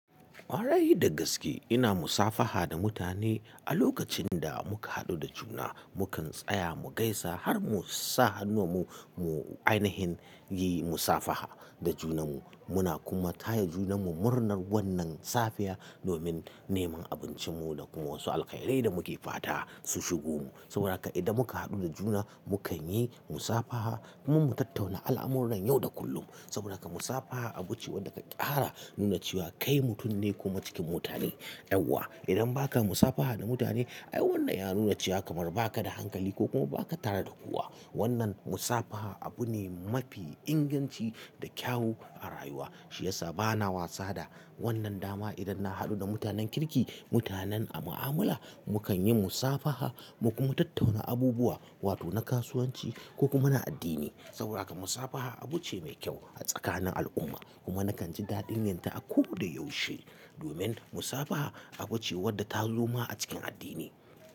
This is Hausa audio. Kwarai da gaske, ina musafaha da mutane a lokacin da muka haɗu da juna. Mukan tsaya mu gaisa har mu sa hannuwanmu mu ainahin yi musafaha da junanmu. Muna kuma taya junanmu murnar wannan safiya domin neman abincinmu da kuma wasu alkairai da muke fata su shigo mu. Saboda haka idan muka haɗu da juna, mu kan yi musafaha kuma mu tattauna al'amuran yau da kullum. Saboda haka musafaha abu ce wadda ka ƙara nuna cewa kai mutum ne kuma cikin mutane. Yauwa, idan ba ka musafaha da mutane, ai wannan ya nuna cewa kamar ba ka da hankali ko kuma ba ka tare da kowa. Wannan musafaha abu ne mafi inganci da kyau a rayuwa. Shi ya sa bana wasa da wannan dama idan na haɗu da mutanen kirki, mutanen a mu'amala, mu kan yi musafaha mu kuma tattauna abubuwa wato na kasuwanci ko kuma na addini. Saboda haka musafaha abu ce mai kyau a tsakanin al'umma kuma nakan ji daɗin yanta a ko da yaushe domin musafaha abu ce wadda ta zoma a cikin addini.